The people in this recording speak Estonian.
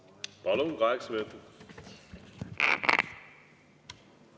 Palun, kaheksa minutit!